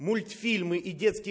мультфильмы и детские